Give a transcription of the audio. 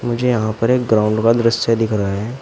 मुझे यहां पर एक ग्राउंड का दृश्य दिख रहा है।